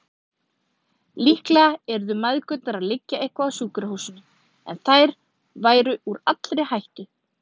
Líklega yrðu mæðgurnar að liggja eitthvað á sjúkrahúsinu, en þær væru úr allri hættu.